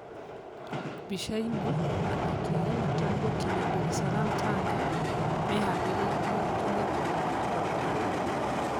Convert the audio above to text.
Mbicaĩnĩ: Athaki a Evatoni gũkinya Ndaresalaam Tanga meharĩirie kũng'ethanira na Gor Mahia.